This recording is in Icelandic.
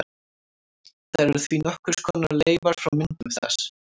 Þær eru því nokkurs konar leifar frá myndun þess.